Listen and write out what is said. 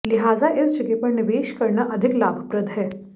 लिहाजा इस जगह पर निवेश करना अधिक लाभप्रद है